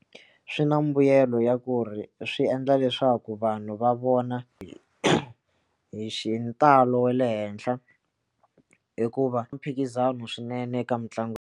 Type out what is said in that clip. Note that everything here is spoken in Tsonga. Swi na mbuyelo ya ku ri swi endla leswaku vanhu va vona hi hi xintalo le henhla hikuva mphikizano swinene eka mitlangu.